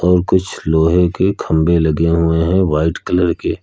और कुछ लोहे के खंबे लगे हुए हैं व्हाइट कलर के।